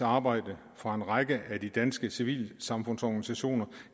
arbejde fra en række af de danske civilsamfundsorganisationer